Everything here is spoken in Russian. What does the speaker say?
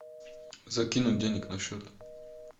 закинуть денег на счет